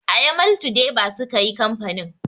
A yamaltu deba sukayi kamfain